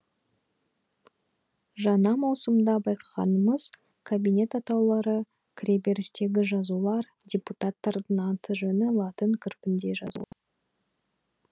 жаңа маусымда байқағанымыз кабинет атаулары кіреберістегі жазулар депутаттардың аты жөні латын қарпінде жазулы